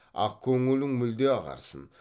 ақ көңілің мүлде ағарсын